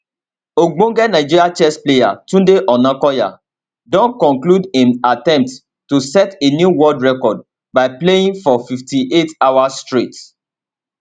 ogbonge nigerian chess player tunde onakoya don conclude im attempt to set a new world record by playing for 58 hours straight